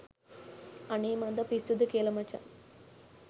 අනේ මන්ද පිස්සුද කියල මචන්